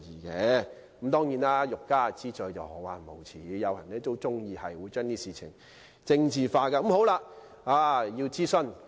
不過，欲加之罪，何患無辭，有些人很喜歡把事情政治化。